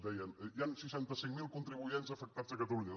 deien hi han seixanta cinc mil contribuents afectats a catalunya